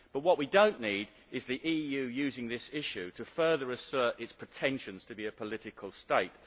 What we do not need is the EU using this issue to further assert its pretentions to be a political state.